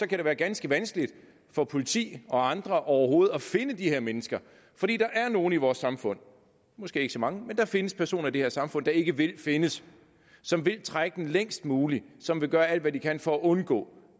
kan det være ganske vanskeligt for politi og andre overhovedet at finde de her mennesker fordi der er nogle i vores samfund måske ikke så mange men der findes personer i det her samfund der ikke vil findes som vil trække den længst muligt som vil gøre alt hvad de kan for at undgå